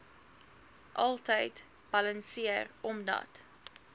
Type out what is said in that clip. altyd balanseer omdat